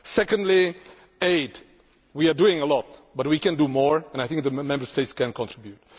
Secondly, aid we are doing a lot and we can do more, and I think the Member States can contribute.